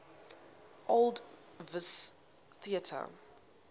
old vic theatre